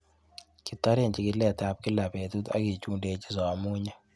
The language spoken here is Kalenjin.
Kitoren chikiletab kila betut ak kichundechin somunyik